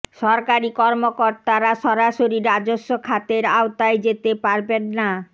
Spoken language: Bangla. সরকারি কর্মকর্তারা সরাসরি রাজস্ব খাতের আওতায় যেতে পারবেন না